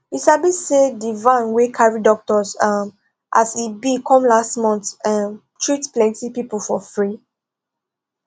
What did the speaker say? you sabi saydi van wey carry doctors um as e be come last month um treat plenty people for free